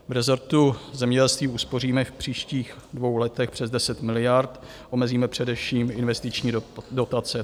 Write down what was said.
V rezortu zemědělství uspoříme v příštích dvou letech přes 10 miliard, omezíme především investiční dotace.